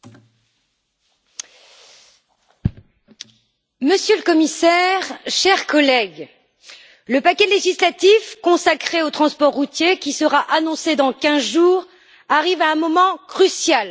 Madame la Présidente, Monsieur le Commissaire, chers collègues, le paquet législatif consacré au transport routier, qui sera annoncé dans quinze jours, arrive à un moment crucial.